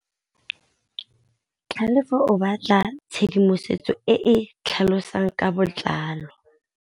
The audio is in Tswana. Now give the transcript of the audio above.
Tlhalefô o batla tshedimosetsô e e tlhalosang ka botlalô.